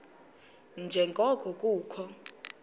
nje ngoko kukho